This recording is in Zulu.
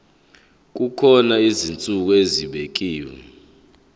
kukhona izinsuku ezibekiwe